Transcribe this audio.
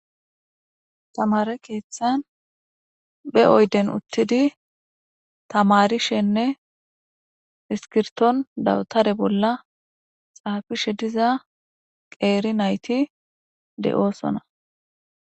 Tamare kethan be uyden utidi tamarishenne iskirton dabtare bolla xafishe diza geri nati de'osona